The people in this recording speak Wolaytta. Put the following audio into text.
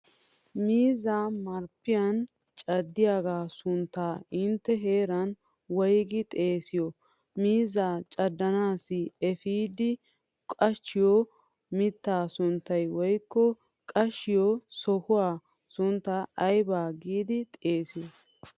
Miizzaa marppiyan caddiyaaga sunttaa intte heeran woygidi xeesiyo. Miizzaa caddanaassi efiidi qachchiyo mittaa sunttaa woykko qachchiyo sohuwaa sunttaa ayba giidi xeesiyo.